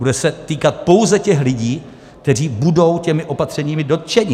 Bude se týkat pouze těch lidí, kteří budou těmi opatřeními dotčeni.